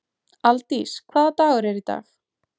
Aldís, hvaða dagur er í dag?